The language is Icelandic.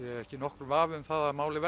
ekki nokkur vafi um það að málið